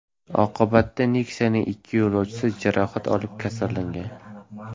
Oqibatda Nexia’ning ikki yo‘lovchisi jarohat olib, kasalxonaga yotqizilgan.